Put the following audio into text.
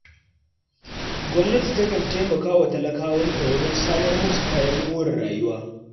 Gwamnati takan taimaka wa talakawanta wajen samar musu kayan more rayuwa.